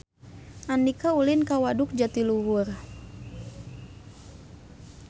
Andika ulin ka Waduk Jatiluhur